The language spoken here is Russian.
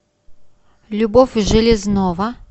любовь железнова